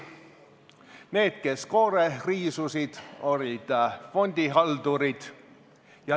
Need, kes koore riisusid, olid fondihaldurid.